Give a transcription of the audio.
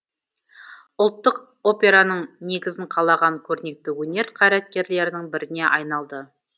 ұлттық операның негізін қалаған көрнекті өнер қайраткерлерінің біріне айналды